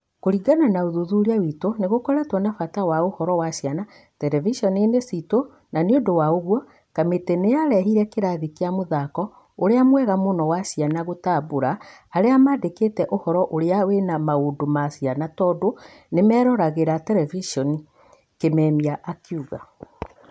Kũringana na ũthuthuria witũ nĩgũkoretwo na bata wa ũhoro wa ciana, terevishoninĩ citũ na nĩundũ wa ũguo, kamĩtĩ nĩyarehire kirathi kĩa mũthako ũrĩa mwega mũno wa ciana gũtambũra arĩa maandĩkĩte ũhoro ũrĩa wĩna maundũ ma ciana tondũ nĩmeroragĩra terevishoni,"Kimemia akiuga.